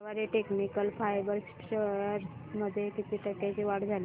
Garware technical fibres shares मध्ये किती टक्क्यांची वाढ झाली